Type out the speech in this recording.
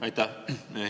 Aitäh!